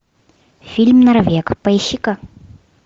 фильм норвег поищи ка